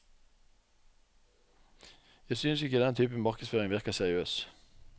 Jeg synes ikke denne typen markedsføring virker seriøs.